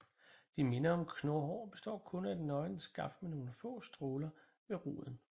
De minder om knurhår og består kun af et nøgent skaft med nogle få stråler ved roden